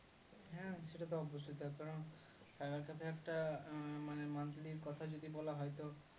হ্যাঁ সেটা তো অবশ্যই তার কারণ cyber cafe এ একটা মানে monthly র কথা যদি বলা হয় তো